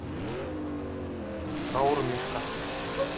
шаурмишка